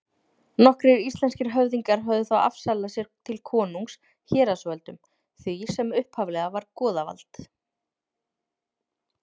Nokkrir íslenskir höfðingjar höfðu þá afsalað sér til konungs héraðsvöldum, því sem upphaflega var goðavald.